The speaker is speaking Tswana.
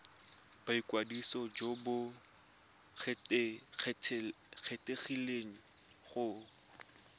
boikwadiso jo bo kgethegileng go